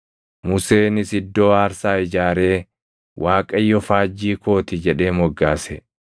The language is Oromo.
Museenis iddoo aarsaa ijaaree, “ Waaqayyo Faajjii koo ti” jedhee moggaase.